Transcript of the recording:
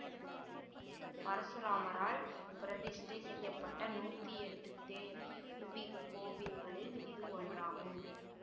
பரசுராமரால் பிரதிஷ்டை செய்ய பட நூத்தி எட்டு தேவி கோவில்களில் இது ஒன்றாகும்